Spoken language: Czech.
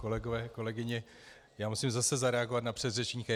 Kolegové, kolegyně, já musím zase zareagovat na předřečníka.